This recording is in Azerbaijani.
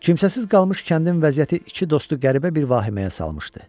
Kimsəsiz qalmış kəndin vəziyyəti iki dostu qəribə bir vahiməyə salmışdı.